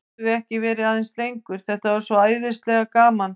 Gátum við ekki verið aðeins lengur, þetta var svo æðislega gaman?